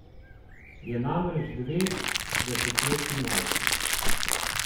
Je namreč dve desetletji mlajši.